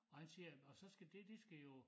Og han siger og så skal det de skal jo